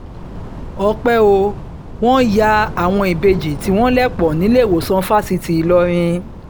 ọ̀pẹ ò wọ́n ya àwọn ìbejì tí wọ́n lẹ̀ pọ̀ nílẹ́wọ̀ọ̀sán fásitì ìlọrin